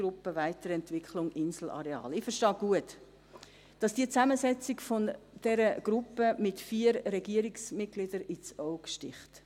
Ich verstehe gut, dass die Zusammensetzung dieser Gruppe mit vier Regierungsmitgliedern ins Auge sticht.